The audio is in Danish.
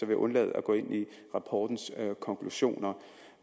jeg undlade at gå ind i rapportens konklusioner